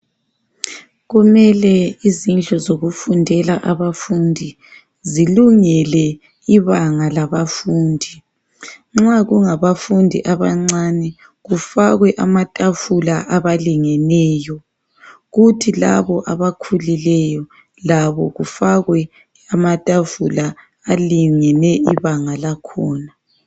Kumele izindlu zokufundela abafundi zilungele ibanga labafundi. Nxa kungabafundi abancani kufakwe amatafula abalingeneyo kuthi labo abakhulileyo labo kufakwe amatafula alingene ibanga lakhona.